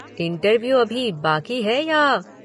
interview अभी बाकी है या